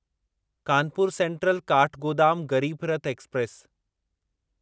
Kanpur central Kathgodam Garib Rath express